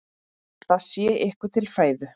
Það sé ykkur til fæðu.